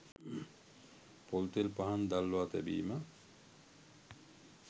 පොල්තෙල් පහන් දල්වා තැබීම